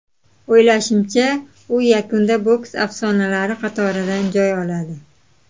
O‘ylashimcha, u yakunda boks afsonalari qatoridan joy oladi.